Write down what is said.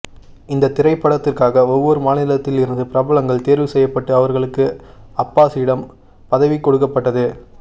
இந்த திட்டத்திற்காக ஒவ்வொரு மாநிலத்தில் இருந்து பிரபலங்கள் தேர்வு செய்யப்பட்டு அவர்களுக்கு அம்பாசிடம் பதவி கொடுக்கப்பட்டது